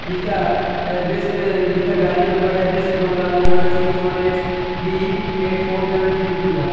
इसका west E का गाड़ी नंबर है West Bengal number six one eight B A four seven three two है ।